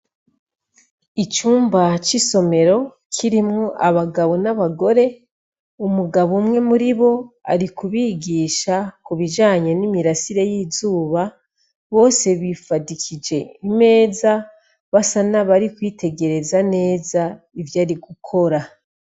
Icumba c'isomero kirimw'abagabo n'abagore ,umugabo umwe muri bo ari kubigisha ku bijanye n'imirasire y'izuba, bose bifadikije imeza basa nabari kwitegereza neza ivyo ari gukora.